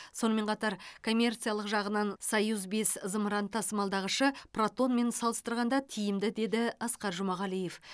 сонымен қатар коммерциялық жағынан союз бес зымырын тасымалдағышы протонмен салыстырғанда тиімді деді асқар жұмағалиев